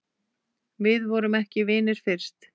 Við vorum ekki vinir fyrst.